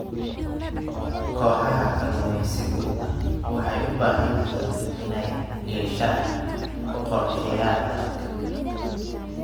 Kooxaha kalluumaysigu waxay u baahan yihiin inay yeeshaan qorshayaal adag.